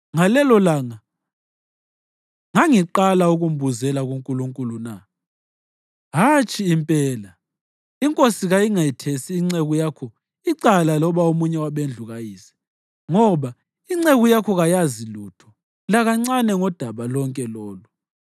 Ngalelolanga ngangiqala ukumbuzela kuNkulunkulu na? Hatshi impela! Inkosi kayingethesi inceku yakho icala loba omunye wabendlu kayise, ngoba inceku yakho kayazi lutho lakancane ngodaba lonke lolu.”